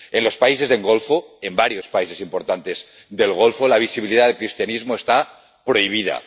En los países del Golfo, en varios países importantes del Golfo, la visibilidad del cristianismo está prohibida.